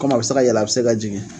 Kɔmi a be se ka yɛlɛ a bi se ka jigin